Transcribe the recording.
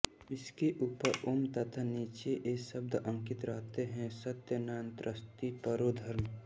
इसके ऊपर ॐ तथा नीचे ये शब्द अंकित रहते हैं सत्यान्नास्ति परो धर्म